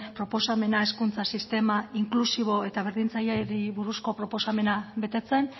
proposamena hezkuntza sistema inklusibo eta berdintzaileari buruzko proposamena betetzen